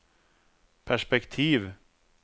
perspektiv